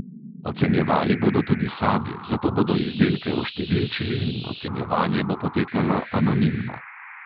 Ocenjevali bodo tudi sami, zato bodo izdelke oštevilčili in ocenjevanje bo potekalo anonimno.